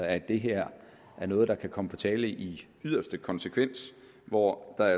at det her er noget der kan komme på tale i yderste konsekvens hvor der